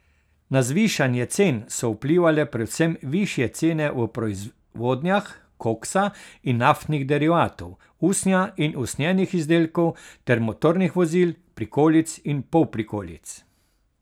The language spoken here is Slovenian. Na zvišanje cen so vplivale predvsem višje cene v proizvodnjah koksa in naftnih derivatov, usnja in usnjenih izdelkov ter motornih vozil, prikolic in polprikolic.